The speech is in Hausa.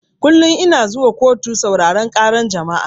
Kullun ina zuwa kotu sauraran ƙara jama'a